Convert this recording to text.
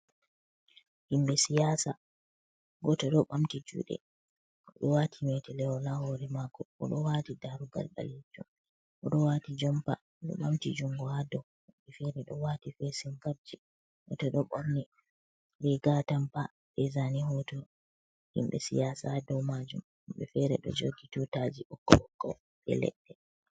Himbe siyasa goto do ɓamti juɗe oɗo wati metelewol ha hore mako oɗo wati darugal ɓalejum oɗo wati jompa, oɗo ɓamti jungo ha dou, woɓɓe fere ɗo wati fesin kapji goto do ɓorni riga atampa be zane hoto himɓe siyasa ha dow majum woɓɓe fere ɗo jogi tutaji ɓokko ɓokko be leɗɗe.